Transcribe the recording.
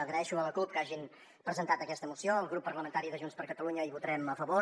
agraeixo a la cup que hagin presentat aquesta moció el grup parlamentari de junts per catalunya hi votarem a favor